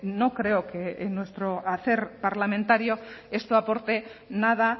no creo que en nuestro hacer parlamentario esto aporte nada